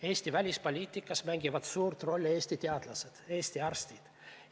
Eesti välispoliitikas mängivad suurt rolli Eesti teadlased, Eesti arstid.